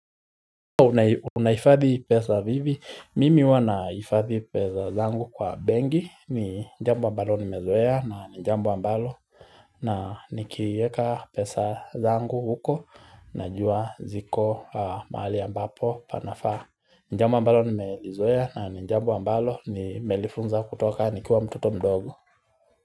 Unahifadhi pesa vipia? Mimi huwa nahifadhi pesa zangu kwa benki ni jambo ambalo nimezoea na jambo ambalo na nikiweka pesa zangu huko najua ziko mahali ambapo panafaa jambo ambalo nimelizoea na ni jambo ambalo nimelifunza kutoka nikiwa mtoto mdogo.